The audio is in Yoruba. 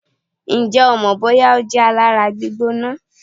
Ǹjẹ́ o mọ̀ bóyá ó jẹ́ alára gbígbóná?